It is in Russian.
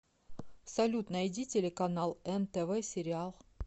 салют найди телеканал нтв сериал